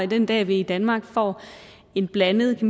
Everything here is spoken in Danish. den dag vi i danmark får en blandet